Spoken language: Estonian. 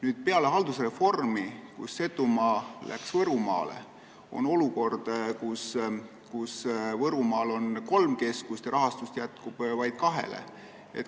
Nüüd peale haldusreformi, kui Setumaa läks Võrumaale, on olukord, kus Võrumaal on kolm keskust, kuid rahastust jätkub vaid kahele.